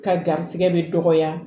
Ka garisɛgɛ bɛ dɔgɔya